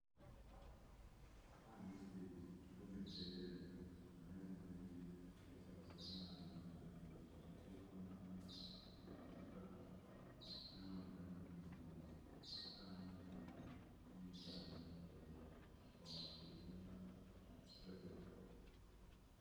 Haha nĩ stage andũ metereire ngari na arĩa angĩ nĩ mbiacara ciao marathiĩ na mbere nacio ta ũtahi wa maaĩ, matuka. Nĩ haonekania ĩno nĩ stage aya nĩ athii nĩ ngari metereire o makĩrĩaga rebeta.